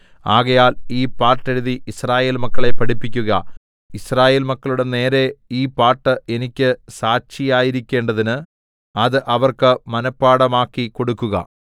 ആകയാൽ ഈ പാട്ടെഴുതി യിസ്രായേൽ മക്കളെ പഠിപ്പിക്കുക യിസ്രായേൽ മക്കളുടെ നേരെ ഈ പാട്ട് എനിക്ക് സാക്ഷിയായിരിക്കേണ്ടതിന് അത് അവർക്ക് മനപാഠമാക്കിക്കൊടുക്കുക